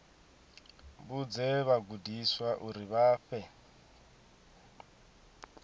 vhudze vhagudiswa uri vha fhe